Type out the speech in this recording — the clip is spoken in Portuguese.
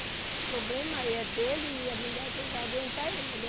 O problema é dele e a mulher quem vai aguentar é ele.